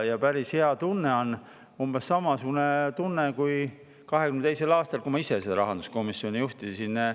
Päris hea tunne on, umbes samasugune tunne kui 2022. aastal, kui ma ise rahanduskomisjoni juhtisin.